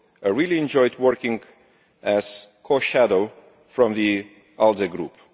I really enjoyed working as co shadow from the ALDE Group.